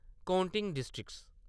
काउटिंग districts